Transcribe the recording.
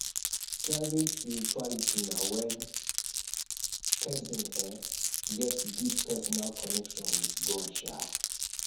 private spirituality na when persin um get deep personal connection with god um